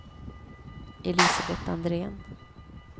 Elisabet Andrén